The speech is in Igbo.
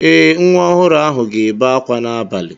Ee, Nwa ọhụrụ ahụ ga-ebe akwa n'abalị.